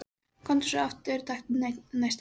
Komdu svo aftur og taktu næsta vagn.